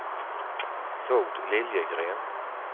Tord Liljegren